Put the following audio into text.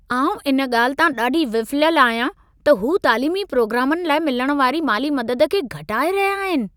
आउं इन ॻाल्हि तां ॾाढी विफ़िलियल आहियां, त हू तालीमी प्रोग्रामनि लाइ मिलण वारी माली मदद खे घटाए रहिया आहिनि।